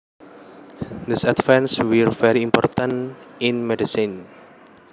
These advances were very important in medicine